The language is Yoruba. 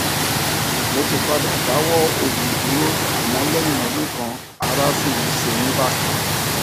mo ti padà dáwọ òògùn dúró àmọ lẹyìn ọdún kan ará sì ń ṣe mí bákan